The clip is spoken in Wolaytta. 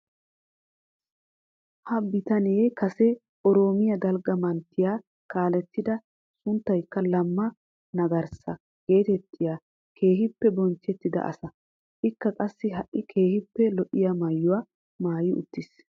Ha bitalanee kase oroomiyaa dalgga manttiyaa kaalettida a sunttaykka lamma magarssa getettiyaa keehippe bonchchettida asa. Ikka qassi ha'i keehippe lo"iyaa maayuwaa maayi uttiis.